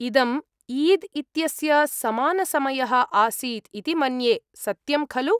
इदम् ईद् इत्यस्य समानसमयः आसीत् इति मन्ये। सत्यं खलु?